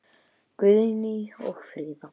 Guðný og Fríða.